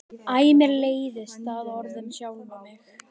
Æ mér leiðist það orð um sjálfa mig.